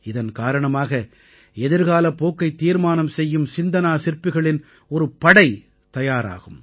இதன் காரணமாக எதிர்காலப் போக்கைத் தீர்மானம் செய்யும் சிந்தனாசிற்பிகளின் ஒரு படை தயாராகும்